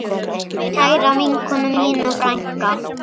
Kæra vinkona mín og frænka.